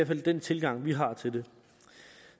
fald den tilgang vi har til det